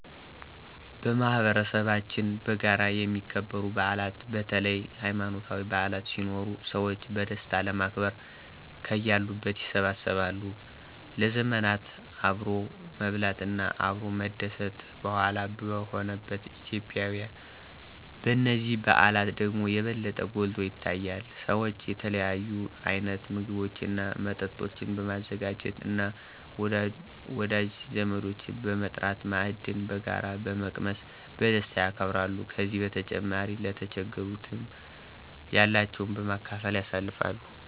በማህበረሰባችን በጋራ የሚከበሩ በዓላት በተለይ ሀይማኖታዊ በዓላት ሲኖሩ ሰዎች በደስታ ለማክበር ከያሉበት ይሰበሰባሉ። ለዘመናት አብሮ መብላት እና አብሮ መደስት ባህሏ በሆነባት ኢትዮጲያ በነዚህ በዓላት ደግሞ የበለጠ ጐልቶ ይታያል። ሰዎች የተለያዩ አይነት ምግቦች እና መጠጦችን በማዘጋጃት እና ወዳጅ ዘመዶችን በመጥራት ማዕድን በጋራ በመቅመስ በደስታ ያከብራሉ። ከዚህ በተጨማሪ ለተቸገሩትንም ያላቸውን በማካፈል ያሳልፍሉ።